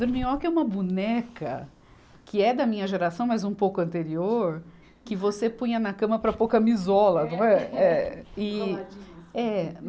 Dorminhoca é uma boneca que é da minha geração, mas um pouco anterior, que você punha na cama para pôr camisola, não é. É, e, é